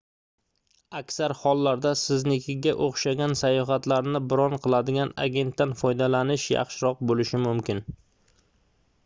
aksar hollarda siznikiga oʻxshagan sayohatlarni bron qiladigan agentdan foydalanish yaxshiroq boʻlishi mumkin